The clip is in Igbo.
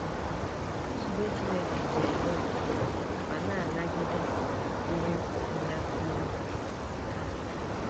Nzube Chineke ji enwe ndidi ma na - anagide ihe funahụrụ ha.